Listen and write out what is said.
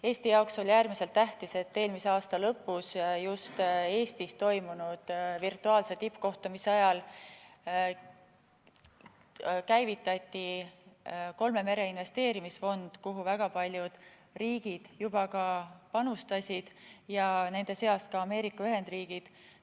Eesti jaoks oli äärmiselt tähtis, et eelmise aasta lõpus, just Eestis toimunud virtuaalse tippkohtumise ajal, käivitati kolme mere investeerimisfond, kuhu väga paljud riigid juba on panustanud, nende seas ka Ameerika Ühendriigid.